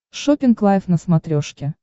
шоппинг лайв на смотрешке